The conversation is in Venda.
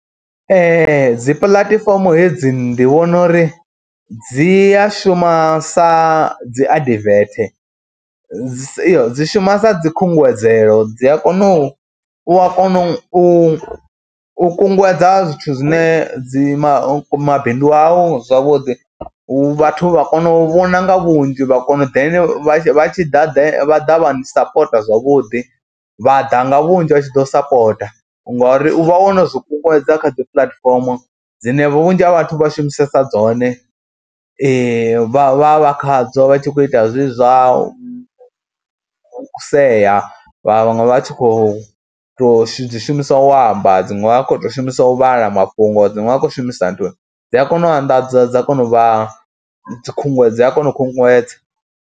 Ee dzi puḽatifomo hedzi ndi vhona uri dzi a shuma sa dzi adivethe, dzi dzi shuma sa dzikhunguwedzelo dzi a kona u u a kona u kunguwedza zwithu zwine dzi mabindu au zwavhuḓi, vhathu vha kono u vhona nga vhunzhi vha kona u ḓe vha tshi ḓa vha ḓa vha ni sapota zwavhuḓi, vha ḓa nga vhunzhi vha tshi ḓo sapota ngori u vha wo no zwi kunguwedza kha dzi puḽatifomo dzine vhunzhi ha vhathu vha shumisesa dzone vha vha vha khadzo vha tshi khou ita zwezwi zwa u sea, vhaṅwe vha tshi khou tou dzi shumiswa u amba. Dziṅwe vha khou tou shumisa u vhala mafhungo, dziṅwe vha khou shumisa nthu, dzi a kona u anḓadza dza kona u vha dzi khunguwedzo a kona u khunguwedza.